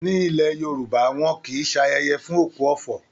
Ní ilẹ̀ Yorùbá, wọn kìí ṣayẹyẹ fún òkú ọ̀fọ̀